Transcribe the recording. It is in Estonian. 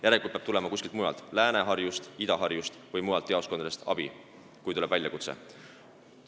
Järelikult peab abi tulema kuskilt mujalt – Lääne-Harjust, Ida-Harjust või mujalt jaoskondadest –, kui tuleb väljakutse.